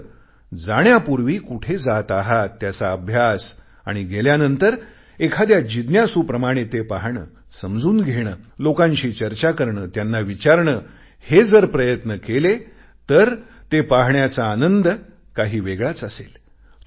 मात्र जाण्यापूर्वी कुठे जात आहात त्याचा अभ्यास आणि गेल्यानंतर एखाद्या जिज्ञासूप्रमाणे ते पाहणे समजून घेणे लोकांशी चर्चा करणे त्यांना विचारणे हे जर प्रयत्न केले तर ते पाहण्याचा आनंद काही वेगळाच असेल